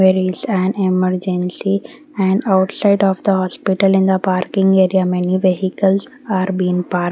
where is an emergency and outside of the hospital in the parking area many vehicles are been par--